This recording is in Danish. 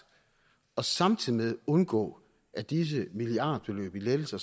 samtidig med undgås at disse milliardbeløb i lettelser